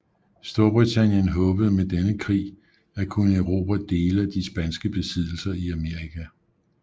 Storbritannien håbede med denne krig at kunne erobre dele af de spanske besiddelser i Amerika